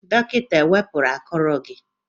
Dọkịta ewepụru akụrụ gị?